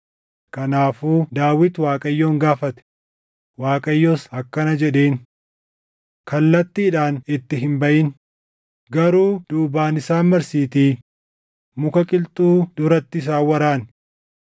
kanaafuu Daawit Waaqayyoon gaafate; Waaqayyos akkana jedheen; “Kallattiidhaan itti hin baʼin; garuu duubaan isaan marsiitii muka qilxuu duratti isaan waraani.